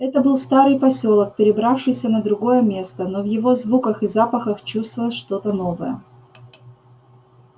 это был старый посёлок перебравшийся на другое место но в его звуках и запахах чувствовалось что-то новое